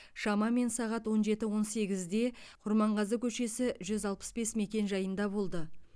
шамамен сағат он жеті он сегізде құрманғазы көшесі жүз алпыс бес мекенжайында болды